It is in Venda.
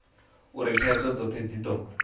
uri thaidzo dzothe dzi do